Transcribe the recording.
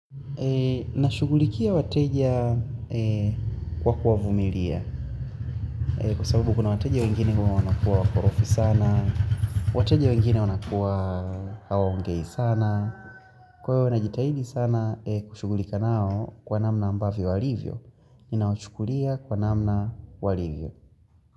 Na shughulikia wateja kwa kuwa vumilia. Kwa sababu kuna wateja wengine huwa wanakuwa wakorofi sana. Wateja wengine wanakuwa hawaongei sana. Kwa hiyo na jitahidi sana kushughulika nao kwa namna ambavyo alivyo. Ninawachukulia kwa namna walivyo.